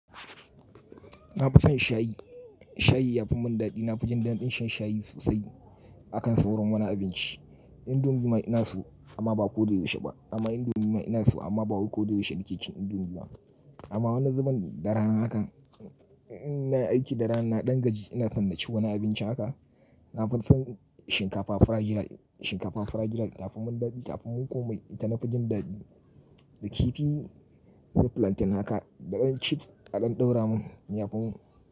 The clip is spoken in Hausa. Na fi son shayi, shayi yafi mun dadi. Na fi jin daɗin shan shayi sosai akan sauran wani abinci. Indomie ma ina so amma ba ko da yaushe ba. Amma indomie ma ina so amma ba wai ko da yaushe nike cin indomie ba. Amma wani zaman da rana haka, ina yi aiki da rana, na dan gaji ina san naci wani abinci haka. Na fi son shinkafa fried rice, shinkafa fried rice kafi mun dadi kafin komai. Ita na fi jin daɗi. Da kifi, da plantain haka, da ɗan chips, ƙadan ɗaura mun, ya fi mun.